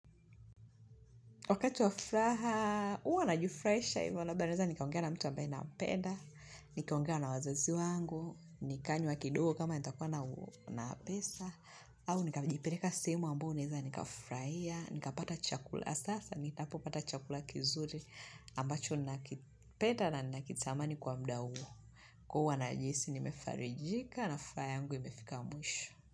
Wakati wafuraha, uwa najifurahisha hivyo Ilabda naweza, nikaongea na mtu ambae nampenda Nikaongea na wazazi wangu. Nikanywa kidogo kama nitakuwa na pesa. Au, nikajipeleka sehemu ambao naeza, nikafurahia. Nika pata chakula. Haswa, nitapo pata chakula kizuri. Ambacho, nina kipeda na nina kitamani kwa mda huo. Huwa najihisi, nimefarijika. Na faya yangu, imefika mwisho.